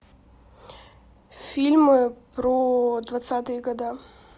фильмы про двадцатые года